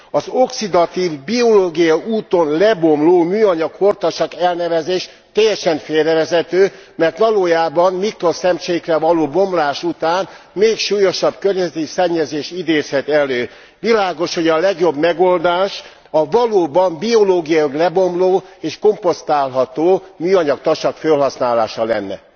Az oxidatív, biológiai úton lebomló műanyag hordtasak elnevezés teljesen félrevezető, mert valójában mikroszemcsékre való bomlás után még súlyosabb környezeti szennyezést idézhet elő. Világos, hogy a legjobb megoldás a valóban biológiailag lebomló és komposztálható műanyag tasak fölhasználása lenne.